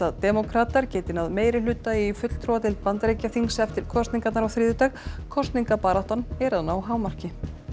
demókratar geti náð meirihluta í fulltrúadeild Bandaríkjaþings eftir kosningarnar á þriðjudag kosningabaráttan er að ná hámarki